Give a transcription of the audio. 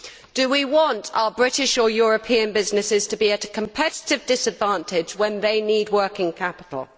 Do we want our British or European businesses to be at a competitive disadvantage when they need working capital?